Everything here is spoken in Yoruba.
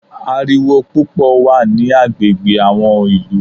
Ariwo púpọ̀ wà ní agbègbè àwọn ìlú.